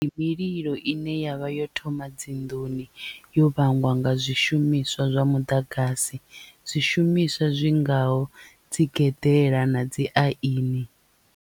Ndi mililo ine yavha yo thoma dzinḓuni yo vhangwa nga zwishumiswa zwa muḓagasi zwishumiswa zwi ngaho dzi geḓela na dzi aini.